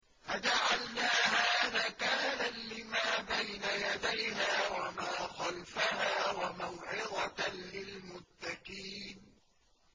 فَجَعَلْنَاهَا نَكَالًا لِّمَا بَيْنَ يَدَيْهَا وَمَا خَلْفَهَا وَمَوْعِظَةً لِّلْمُتَّقِينَ